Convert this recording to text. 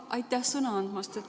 Aitäh sõna andmast!